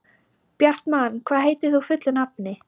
Bjartmann, hvað heitir þú fullu nafni?